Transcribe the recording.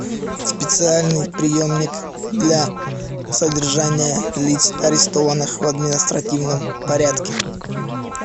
специальный приемник для содержания лиц арестованных в административном порядке